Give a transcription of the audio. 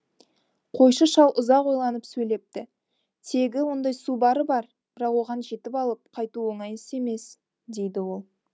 қойшы шал ұзақ ойланып сөйлепті тегі ондай су бары бар бірақ оған жетіп алып қайту оңай іс емес дейді ол